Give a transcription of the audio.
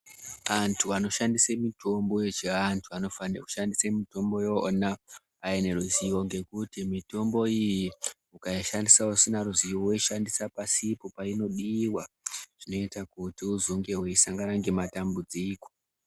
Antu anoshandise mitombo yechiantu anofane kushandise mitombo yona aine ruzivo. Ngekuti mitombo iyi ukaishandisa usina ruzivo, woishandisa pasipo paunodiwa zvinoita kuti uzonge weisangana nemadambudziko.